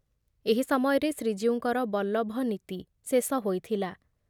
ଏହି ସମୟରେ ଶ୍ରୀଜୀଉଙ୍କର ବଲ୍ଲଭ ନୀତି ଶେଷ ହୋଇଥିଲା ।